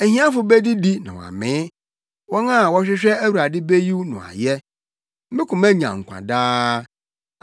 Ahiafo bedidi na wɔamee; wɔn a wɔhwehwɛ Awurade beyi no ayɛ, mo koma nnya nkwa daa.